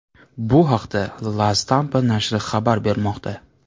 Bu haqda La Stampa nashri xabar bermoqda .